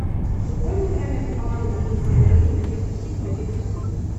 футбольная игра между командами английской премьер лиги манчестер сити манчестер сити